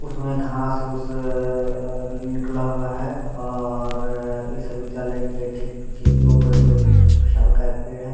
उसमें घास उस आ निकला हुआ है और इस विधालय के ठीक पीछे दो बड़े बड़े शाल का पेड़ एक हैं।